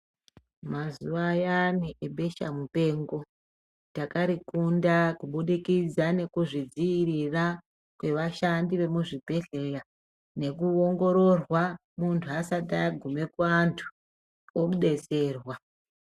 Mazuwa ayani ebesha mupengo takarikunda kubudikidza nekuzvidziirira kwevashandi vemuzvibhedhlera nekuongororwa muntu asati agume kuantu odetserwa.